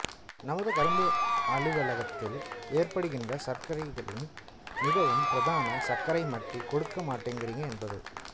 நமது கரும்பு அலுவலகத்தில் ஏற்படுகின்ற சர்க்சைகளில் மிகவும் பிரதான சர்ச்சை மட்டி கொடுக்க மாட்டேங்குறீங்க என்பது